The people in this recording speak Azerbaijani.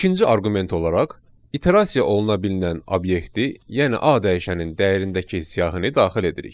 İkinci arqument olaraq iterasiya oluna bilinən obyekti, yəni A dəyişənin dəyərindəki siyahını daxil edirik.